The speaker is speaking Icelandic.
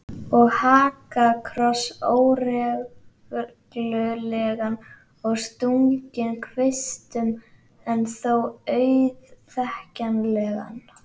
Og hakakross, óreglulegan og stunginn kvistum en þó auðþekkjanlegan.